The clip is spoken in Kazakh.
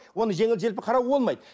оны жеңіл желпі қарауға болмайды